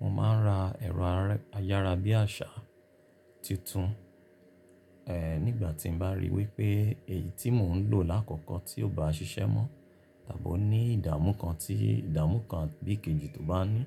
Mo ma ń ra ẹ̀rọ ayárabíàṣá tuntun. Ẹ̀ nígbà tí mo bá rí wípé èyí tí mò ń lò lákòókò tí ò bá ṣiṣẹ́ mọ́ tàbí ó ní ìdààmú kan bí ìkèjì tó bá ní,